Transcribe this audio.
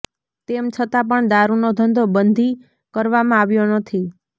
તેમ છતાં પણ દારૂનો ધંધો બંધી કરવામાં આવ્યો નથી